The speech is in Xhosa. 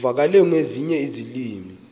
uvakale nangezinye iilwimi